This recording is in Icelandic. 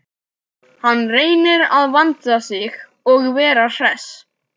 Hann reynir að vanda sig og vera hress.